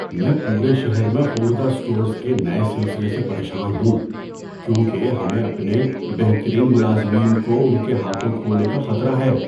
میں پورے شہر میں خوردہ اسٹورز کے نئے سلسلے سے پریشان ہوں، کیونکہ ہمیں اپنے بہترین ملازمین کو ان کے ہاتھوں کھونے کا خطرہ ہے۔